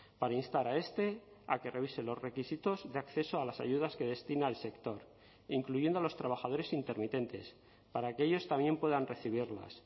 para instar a este a que revise los requisitos de acceso a las ayudas que destina el sector incluyendo a los trabajadores intermitentes para que ellos también puedan recibirlas